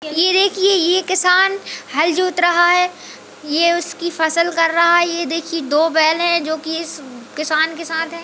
ये देखिए ये किसान हल जोत रहा है ये उसकी फसल कर रहा है ये देखिए दो बैल है जो कि इस किसान के साथ है।